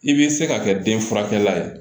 I b'i se ka kɛ den furakɛ la ye